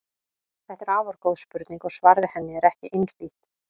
Þetta er afar góð spurning og svarið við henni er ekki einhlítt.